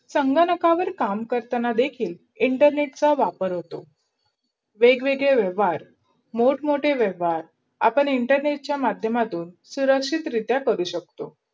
संगणकर काम करतांना देखील internet चा वापर होतो. बेगवेगडा वेहवार, मोठ मोठे वेहवार, आपण इंटरनेटचा माध्यमातून शुरक्षित रिधाय करू शकतो.